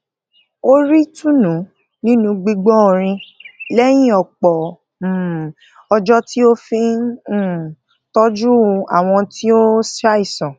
ó rí ìtùnú nínú gbígbó orin léyìn òpò um ọjó tí ó fi ń um tójú àwọn tí ó ń ṣàìsàn